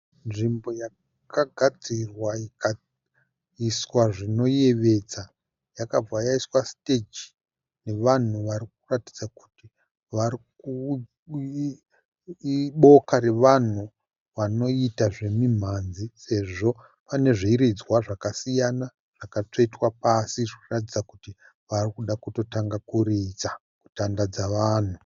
Nzvimbo yakagadzirwa ikaiswa zvinoyevedza. Yakabva yaiswa stage nevanhu varikuratidza kuti iboka revanhu vanoita zvemimhanzi sezvo pane zviridzwa zvakasiyana zvakatsvetwa pasi zvirikuratidza kuti varikutoda kutanga kuridza kutandadza vanhu.